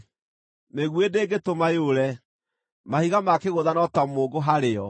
Mĩguĩ ndĩngĩtũma yũre; mahiga ma kĩgũtha no ta mũũngũ harĩ yo.